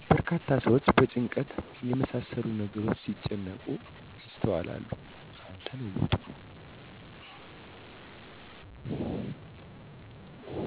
በርካታ ሰዎች በጭንቀት የመሳሰሉ ነገሮች ሲጨነቁ ይስተዋላሉ። አልተለወጡም